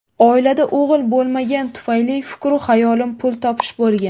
Oilada o‘g‘il bo‘lmagani tufayli fikru xayolim pul topish bo‘lgan.